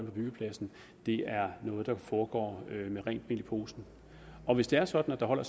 på byggepladsen er noget der foregår med rent mel i posen og hvis det er sådan at der holder